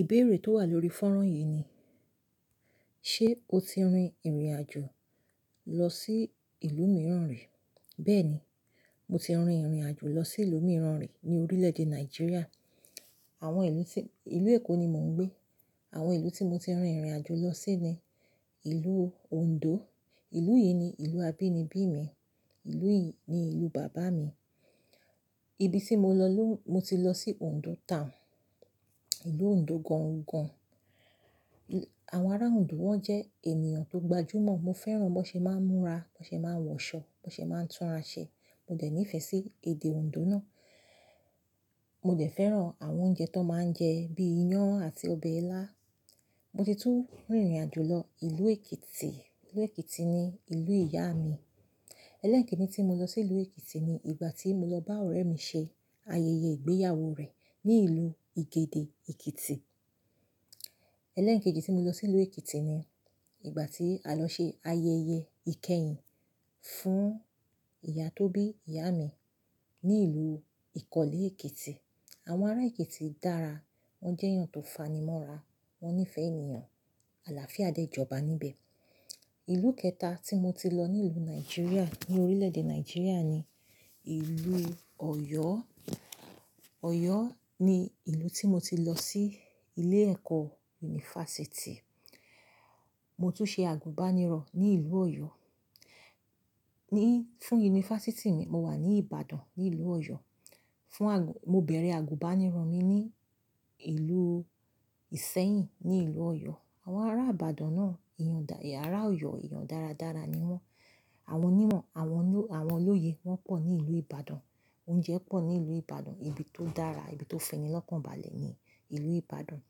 Ìbéèrè tó wà lórí fọ́nrán yìí ni, ṣe o ti rin ìrìnàjò lọ sí ìlú mìíràn rí? Bẹ́ẹ̀ni, mo ti rin ìrìnàjò lọ sí ìlú mìíràn rí ní orílẹ̀-èdè Nàìjíríà. Àwọn ìlú tí, ìlú Èkó ni mò ń gbé. Àwọn ìlú tí mo ti rin ìrìnàjò lọ sí ni ìlú Òǹdó. Ìlú yìí ni ìlú abínibí mi. Ìlú yìí ni ìlú bàbá mi. Ibi tí mo lọ ló, mo ti lọ sí Òǹdó town, ìlú Òǹdó gan-an gan-an. Àwọn ará Òǹdó wọ́n jẹ́ ènìyàn tó gbajúmọ̀. Mo fẹ́ràn bó ṣe máa ń múra, bó ṣe máa ń wọṣọ, bó ṣe máa ń túnra ṣe. Mo dẹ̀ nífẹ̀ẹ́ sí èdè Òǹdó náà. Mo dẹ̀ fẹ́ràn àwọn oúnjẹ tó máa ń jẹ bí i iyán àti ọbẹ̀ ilá. Mo ti tún rin ìrìnàjò lọ ìlú Èkìtì. Ìlú Èkìtì ni ìlú ìyá mi. Ẹlẹ́ẹ̀kínní tí mo lọ sí ìlú Èkìtì ni ìgbà tí mo lọ bá ọ̀rẹ́ mi ṣe ayẹyẹ ìgbéyàwó rẹ̀ ní ìlú Igede, Èkìtì. Ẹlẹ́ẹ̀kẹ́jì tí mo lọ sí ìlú Èkìtì ni ìgbà tí a lọ ṣe ayẹyẹ ìkẹyìn fún ìyá Tóbi, ìyá mi ní ìlú Ìkọlè, Èkìtì. Àwọn ará Èkìtì dára, wọ́n jẹ́ èèyàn tó fanimọ́ra, wọ́n nífẹ̀ẹ́ ènìyàn. Àlàáfíà de ìjọba níbẹ̀. Ìlú kẹta tí mo ti lọ ní ìlú Nàìjíríà, ní orílẹ̀-èdè Nàìjíríà ni ìlú Ọ̀yọ́. Ọ̀yọ́ ni ìlú tí mo ti lọ sí ilé ẹ̀kọ́ yunifásítì. Mo tún ṣe àgùnbánirọ̀ ní ìlú Ọ̀yọ́. Ní, fún yunifásítì mi, mo wà ní Ìbàdàn ní ìlú Ọ̀yọ́. Fún àgùn, mo bẹ̀rẹ̀ àgùnbánirọ̀ mi ní ìlú Ìṣẹ́yìn ní ìlú Ọ̀yọ́. Àwọn ará Ìbàdàn náà, eeyan da, ará Ọ̀yọ́, eeyan dáradára ni wọ́n. Àwọn imo, àwọn oní, àwọn olóye wọ́n pọ̀ ní ìlú Ìbàdàn. Oúnjẹ pọ̀ ní ìlú Ìbàdàn. Ibi tó dára, ibi tó fẹ́nilọ́kànbalẹ̀ ni ìlú Ìbàdàn.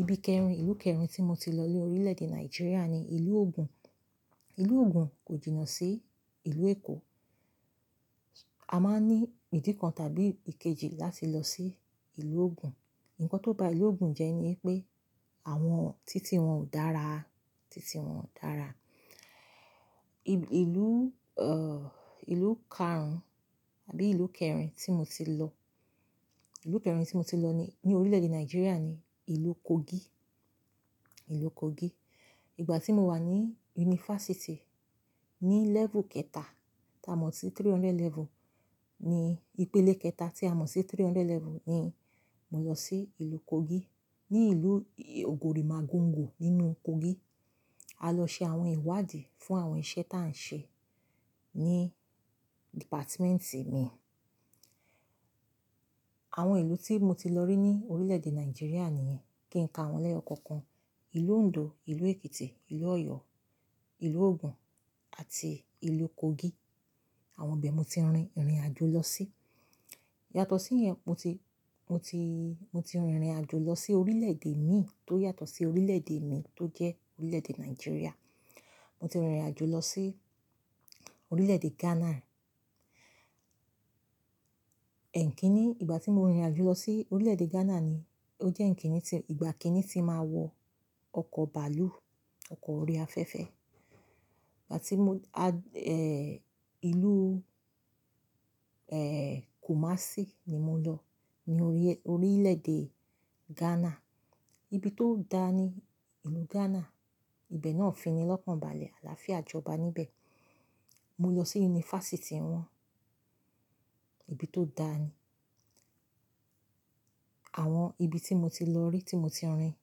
Ibi kẹrin, ìlú kẹrin tí mo ti lọ ní orílẹ̀-èdè Nàìjíríà ni ìlú Ogun. Ìlú Ogun kò jìnà sí ìlú Èkó. A máa ní ìdí kan tàbí ìkejì láti lọ sí ìlú Ogun. Ǹkan tó ba ìlú Ogun jẹ́ ní pé àwọn títí wọn ò dára, títí wọn ò dára. Ìlú, eh, ìlú karùn-ún tàbí ìlú kẹrin tí mo ti lọ, ìlú kẹrin tí mo ti lọ ní, ní orílẹ̀-èdè Nàìjíríà ni ìlú Kogi, ìlú Kogi. Ìgbà tí mo wà ní yunifásítì ní level kẹta tá a mọ̀ sí three hundred level, ní ìpele kẹta tí a mọ̀ sí three hundred level ni mo lọ sí ìlú Kogi. Ní ìlú Ogori Magongo nínú Kogi. A lọ ṣe àwọn ìwádìí fún àwọn iṣẹ́ tá à ń ṣe ní department mi. Àwọn ìlú tí mo ti lọ rí ní orílẹ̀-èdè Nàìjíríà nìyẹn kí n ka wọ́n lẹ́yọ kọ̀ọ̀kan. Ìlú Òǹdó, ìlú Èkìtì, ìlú Ọ̀yọ́, ìlú Ogun àti ìlú Kogi. Àwọn ibi ni mo ti rinrin àjò lọ sí. Yàtọ̀ sí ìyẹn mo ti, mo ti, mo ti rinrin àjò lọ sí orílẹ̀-èdè mi tó yàtọ̀ sí orílẹ̀-èdè mi tó jẹ́ orílẹ̀-èdè Nàìjíríà. Mo ti rin ìrìnàjò lọ sí orílẹ̀-èdè Ghana. Eekinni, ìgbà tí mo rin ìrìn àjò lọ sí orílẹ̀-èdè Ghana ni ó jẹ́ eekínní tí, ìgbà kínní tí màá wọ ọkọ̀ bàálù, ọkọ̀ orí afẹ́fẹ́. Ìgbà tí mo, a, eh, ìlú, eh, Kumasi ni mo lọ ní orí, orílẹ̀-èdè Ghana. Ibi tó dá ni ìlú Ghana. Ìbe náà fẹ́nilọ́kànbalẹ̀, àlàáfíà jọba níbẹ̀. Mo lọ sí yunifásítì wọn. Ibi tó dá ni. Àwọn ibi tí mo ti lọ rí, tí mo ti rin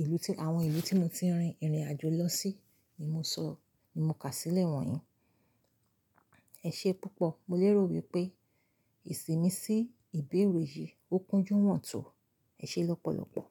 ìlú tí, àwọn ìlú tí mo ti rin ìrìn àjò lọ sí ni mo sọ, ni mo kà sílẹ̀ wọ̀nyí. Ẹ ṣé púpọ̀. Mo lérò wípé ìsìnmi sí ìbéèrè yìí ó kúnjú wọ́n tọ̀. Ẹ ṣé lọ́pọ̀lọ́pọ̀.